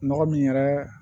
Nɔgɔ min yɛrɛ